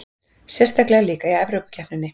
Sérstaklega líka í Evrópukeppninni.